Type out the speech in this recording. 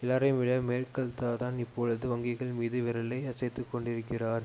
எல்லாரையும்விட மேர்க்கெல்தான் இப்பொழுது வங்கிகள் மீது விரலை அசைத்துக் கொண்டிருக்கிறார்